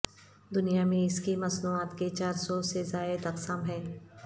دنیا میں اس کی مصنوعات کے چار سو سے زائد اقسام ہیں